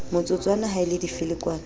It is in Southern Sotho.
motsotswana ha e le difelekwane